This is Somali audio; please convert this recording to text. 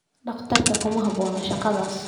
Dhakhtarku kuma habboona shaqadaas.